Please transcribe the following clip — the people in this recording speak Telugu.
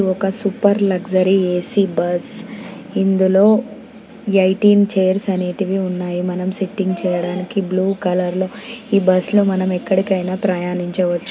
ఇది ఒక సూపర్ లగ్జరీ ఏ.సి బస్ ఇందులో ఎయ్టీన్ చైర్స్ అనేటివి ఉన్నాయి మనం సిట్టింగ్ చేయడానికి బ్లూ కలర్ లో ఈ బస్ లో మనం ఎక్కడికైనా ప్రయాణించవచ్చు.